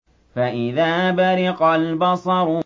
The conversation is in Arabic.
فَإِذَا بَرِقَ الْبَصَرُ